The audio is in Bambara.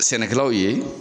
Sɛnɛkɛlaw ye .